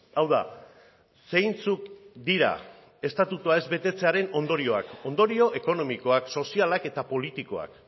hau da zeintzuk dira estatutua ez betetzearen ondorioak ondorio ekonomikoak sozialak eta politikoak